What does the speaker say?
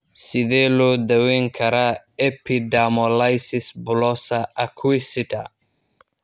Sidee loo daweyn karaa epidermolysis bullosa acquisita?